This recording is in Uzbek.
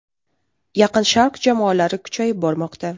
Yaqin Sharq jamoalari kuchayib bormoqda.